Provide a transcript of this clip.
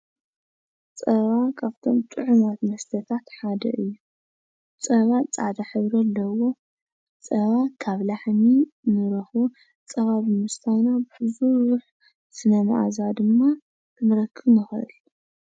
ፀባ ካብቶም ጥዑማት መስተታት ሓደ እዩ። ፀባ ፃዕዳ ሕብሪ ኣለዎ። ፀባ ካብ ላሕሚ እንረክቦ ፀባ ብምስታይና ብዙሕ ስነ ማዓዛ ድማ ክንረክብ ንክእል።